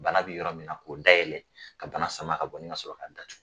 Bana bɛ yɔrɔ min na k'o dayɛlɛ ka bana sama ka bɔ ni ka sɔrɔ k'a datugu.